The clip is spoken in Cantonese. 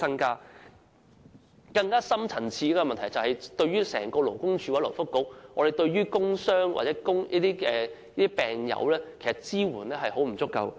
更深層次的問題，是勞工及福利局和勞工處對工傷或病友的支援非常不足夠。